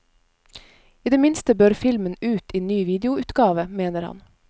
I det minste bør filmen ut i ny videoutgave, mener han.